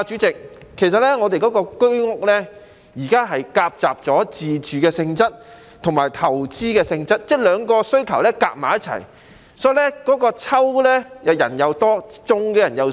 局長，主席，我們的居屋現時夾雜了自住性質和投資性質，即兩種需求夾雜在一起，所以抽籤的人多，中籤的人少。